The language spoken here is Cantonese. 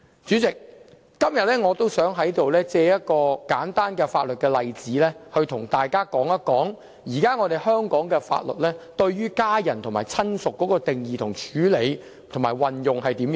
主席，今天，我想藉一個簡單的法律例子，與大家探討現時香港法例對家人和親屬的定義、處理和運用情況。